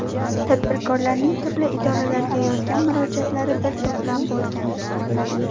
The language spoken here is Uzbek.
Tadbirkorlarning turli idoralarga yozgan murojaatlari bir to‘plam bo‘lgan.